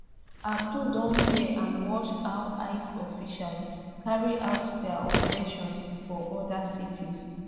abdul don hear and watch how ice officials carry out dia operations for oda cities